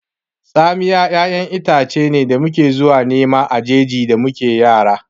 Tsamiya ƴaƴan itace ne da muke zuwa nema daga jeji da muke yara